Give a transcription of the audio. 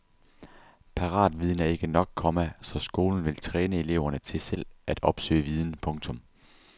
Paratviden er ikke nok, komma så skolen vil træne eleverne til selv at opsøge viden. punktum